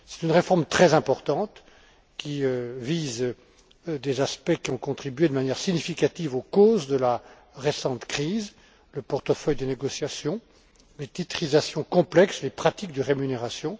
C'est une réforme très importante qui vise des aspects qui ont contribué de manière très significative aux causes de la récente crise le portefeuille des négociations, les titrisations complexes, les pratiques de rémunération.